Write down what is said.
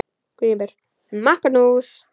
GRÍMUR: Magnús!